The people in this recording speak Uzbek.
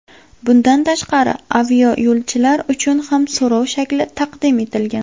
Bundan tashqari, aviayo‘lovchilar uchun ham so‘rov shakli taqdim etilgan.